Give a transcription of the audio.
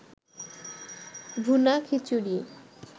ভুনা খিচুরি